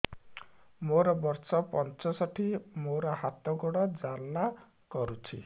ମୋର ବର୍ଷ ପଞ୍ଚଷଠି ମୋର ହାତ ଗୋଡ଼ ଜାଲା କରୁଛି